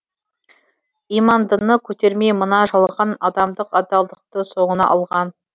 имандыны көтермей мына жалған адамдық адалдықты соңына алған